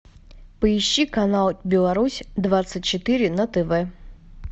поищи канал беларусь двадцать четыре на тв